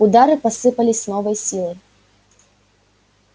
удары посыпались с новой силой